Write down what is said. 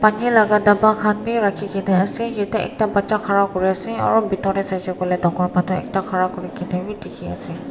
Bani laga daba khan berakhi kina asa yetey ackda bacha khara kuri asa aro pethor tey saisha koilay dakor manu ackda khara kuri kanabi dekhi asa.